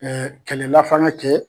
Ɛɛ kɛlɛlafanga kɛ